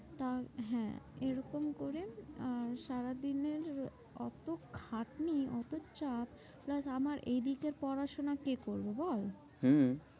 তা হ্যাঁ এরকম করে আহ সারাদিনের অত খাটনি অত চাপ plus আমার এদিকের পড়াশোনা কে করবে বল? হম